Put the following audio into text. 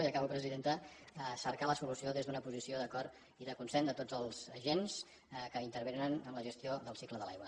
i acabo presidenta cercar la solució des d’una posició d’acord i de consens de tots els agents que intervenen en la gestió del cicle de l’aigua